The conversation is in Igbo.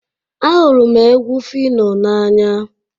Ahụrụ m egwu phyno n'anya